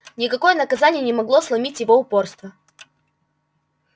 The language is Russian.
никакое наказание не могло сломить его упорство